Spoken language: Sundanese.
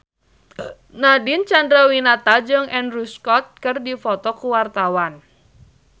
Nadine Chandrawinata jeung Andrew Scott keur dipoto ku wartawan